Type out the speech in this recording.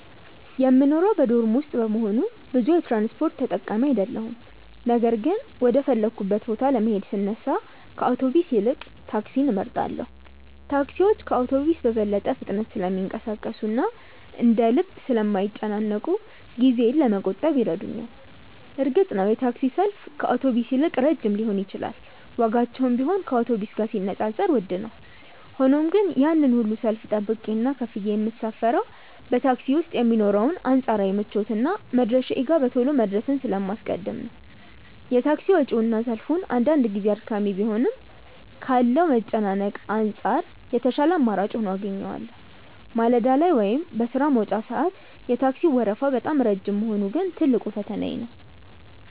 የምኖረው በዶርም ውስጥ በመሆኑ ብዙ የትራንስፖርት ተጠቃሚ አይደለሁም ነገር ግን ወደ ፈለግኩበት ቦታ ለመሄድ ስነሳ ከአውቶቡስ ይልቅ ታክሲን እመርጣለሁ። ታክሲዎች ከአውቶቡስ በበለጠ ፍጥነት ስለሚንቀሳቀሱና እንደ ልብ ስለማይጨናነቁ ጊዜዬን ለመቆጠብ ይረዱኛል። እርግጥ ነው የታክሲ ሰልፍ ከአውቶቡስ ይልቅ ረጅም ሊሆን ይችላል ዋጋቸውም ቢሆን ከአውቶቡስ ጋር ሲነጻጸር ውድ ነው። ሆኖም ግን ያንን ሁሉ ሰልፍ ጠብቄና ከፍዬ የምሳፈረው በታክሲ ውስጥ የሚኖረውን አንጻራዊ ምቾትና መድረሻዬ ጋር በቶሎ መድረስን ስለማስቀድም ነው። የታክሲ ወጪውና ሰልፉ አንዳንድ ጊዜ አድካሚ ቢሆንም ካለው መጨናነቅ አንጻር የተሻለ አማራጭ ሆኖ አገኘዋለሁ። ማለዳ ላይ ወይም በሥራ መውጫ ሰዓት የታክሲው ወረፋ በጣም ረጅም መሆኑ ግን ትልቁ ፈተናዬ ነው።